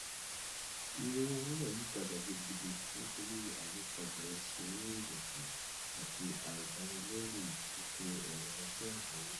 iye owó wúrà yí padà gidigidi nítorí ayípadà oṣù owó ilẹkùn àti àìdánilẹyìn ètò ọrọ ajé àgbáyé